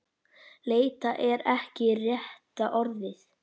Leita er ekki rétta orðið.